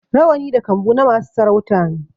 Rawani da kambu na masu sarauta ne